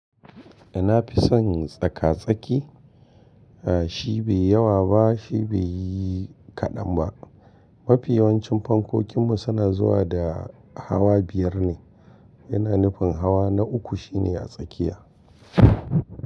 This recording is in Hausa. Da na fi son tsaka-tsaki. Shi bai yawa ba, shi bai yi kaɗan ba. Mafi yawancin fankokinmu suna zuwa da hawa biyar ne, yana nufin hawa na uku shine a tsakiya.